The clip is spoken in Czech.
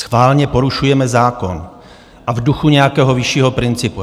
Schválně porušujeme zákon, a v duchu nějakého vyššího principu.